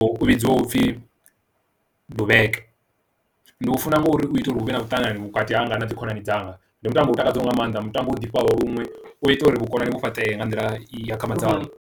U vhidziwa upfhi dubai ndi u funa ngauri u ita uri huvhe na muṱangano vhukati hanga na dzi khonani dzanga ndi mutambo u takadza nga maanḓa mutambo u ḓifha lunwe u ita uri vhukoni vhu fhaṱe nga nḓila i akhamadzaho